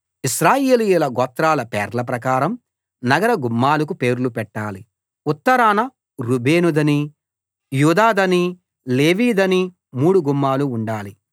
ఇశ్రాయేలీయుల గోత్రాల పేర్ల ప్రకారం నగర గుమ్మాలకు పేర్లు పెట్టాలి ఉత్తరాన రూబేనుదనీ యూదాదనీ లేవీదనీ మూడు గుమ్మాలు ఉండాలి